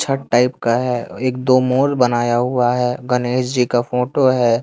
छत टाइप का है एक दो मोर बनाया हुआ है गनेश जी का फोंटो है।